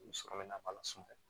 U sɔrɔ bɛ na ba la sunɔgɔ